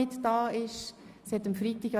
Entschuldigt abwesend sind: